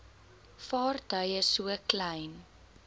vaartuie so klein